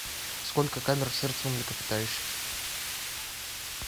сколько камер в сердце у млекопитающих